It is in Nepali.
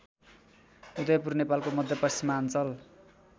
उदयपुर नेपालको मध्यपश्चिमाञ्चल